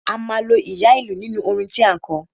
A máa lo ìyá ìlú nínú orin tí à ń kọ.